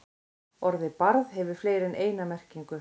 Orðið barð hefur fleiri en eina merkingu.